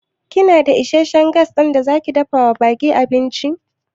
Kina da isasshen Gas ɗin da zaki dafawa ɓakin abinci?